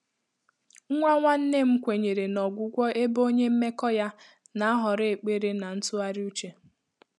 Nwá nwànnè nnà m kwènyèrè nà ọ́gwụ́gwọ́, ébé ọ́nyé mmèkọ́ yá nà-àhọ́rọ́ ékpèré nà ntụ́ghàrị́ úchè.